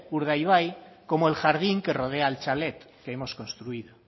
urdaibai como el jardín que rodea al chalet que hemos construido